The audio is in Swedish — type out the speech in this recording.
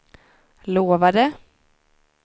lovade